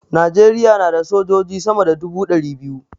Najeriya na da sojoji sama da dubu ɗari biyu